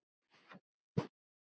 Síðar skildu leiðir.